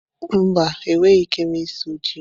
Mba, enweghị m ike ịsu yam.